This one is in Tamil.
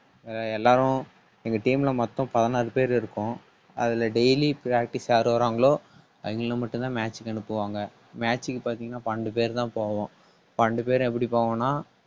ஆஹ் எல்லாரும் எங்க team ல மொத்தம் பதினாறு பேர் இருக்கோம். அதுல daily practice யார் வராங்களோ அவைங்களுக்கு மட்டும்தான் match match க்கு அனுப்புவாங்க. match க்கு பாத்தீங்கன்னா பன்னெண்டு பேர் தான் போவோம். பன்னெண்டு பேரும் எப்படி போவோம்னா